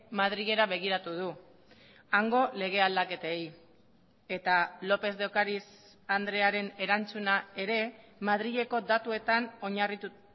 madrilera begiratu du hango lege aldaketei eta lópez de ocariz andrearen erantzuna ere madrileko datuetan oinarritu